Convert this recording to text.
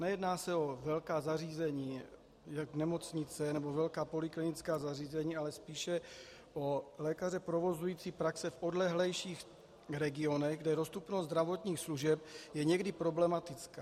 Nejedná se o velká zařízení jako nemocnice nebo velká poliklinická zařízení, ale spíše o lékaře provozující praxe v odlehlejších regionech, kde dostupnost zdravotních služeb je někdy problematická.